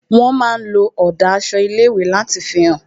Wón máa ń lo ọ̀dà aṣọ ilé ìwé láti fi hàn